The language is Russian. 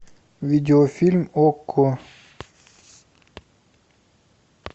видеофильм окко